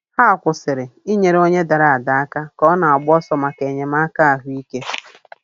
Ha kwụsịrị inyere onye dara ada aka ka ọ na-agba ọsọ maka enyemaka ahụike.